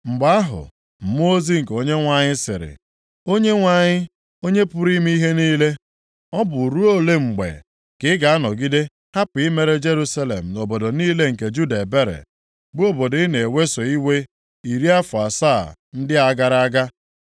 Mgbe ahụ, mmụọ ozi nke Onyenwe anyị sịrị, “ Onyenwe anyị, Onye pụrụ ime ihe niile, ọ bụ ruo ole mgbe ka ị ga-anọgide hapụ imere Jerusalem na obodo niile nke Juda ebere, bụ obodo ị na-eweso iwe iri afọ asaa ndị a gara aga?”